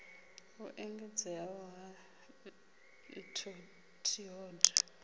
u engedzea ha t hod